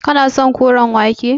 Kana son koren wake.